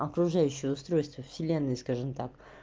окружающие устройство вселенной скажем так